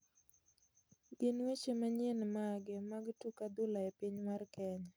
Gin weche manyien mage mag tuk adhula epiny mar Kenya